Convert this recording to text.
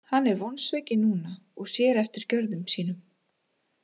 Hann er vonsvikinn núna og sér eftir gjörðum sínum.